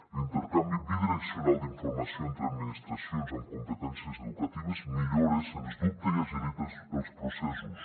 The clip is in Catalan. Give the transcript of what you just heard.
l’intercanvi bidireccional d’informació entre administracions amb competències educatives millora sens dubte i agilita els processos